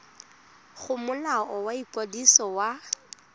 go molao wa ikwadiso wa